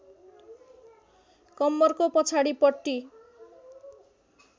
कम्मरको पछाडिपट्टि